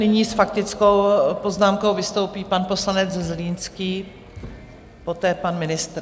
Nyní s faktickou poznámkou vystoupí pan poslanec Zlínský, poté pan ministr.